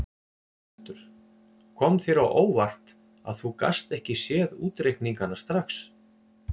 Hjörtur: Kom þér á óvart að þú gast ekki séð útreikningana strax?